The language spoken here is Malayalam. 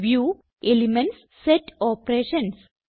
വ്യൂഗ്ട് എലിമെന്റ്സ്ഗ്ട് സെറ്റ് ഓപ്പറേഷൻസ്